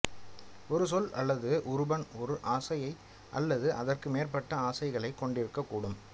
ஒரு சொல் அல்லது உருபன் ஓர் அசையை அல்லது அதற்கு மேற்பட்ட அசைகளைக் கொண்டிருக்கக் கூடும்